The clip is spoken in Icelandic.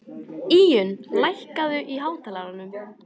Íunn, lækkaðu í hátalaranum.